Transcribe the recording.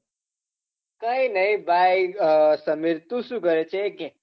કાઈ નહિ ભાઈ અ સમીર તું શું કરે છે એ કે?